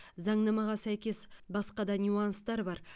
заңнамаға сәйкес басқа да нюанстар бар